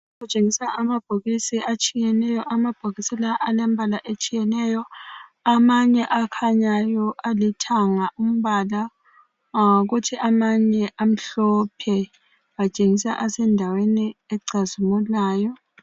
Kutshengisa amabhokisi atshiyeneyo lambhokisi lawa alemibala etshiyeneyo, amanye akhanyayo alithanga umbala kuthi amanye amhlophe atshengisa esendaweni ecazimulayo.